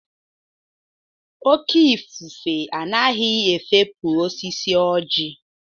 Oke ifufe anaghị efopu osisi ọjị.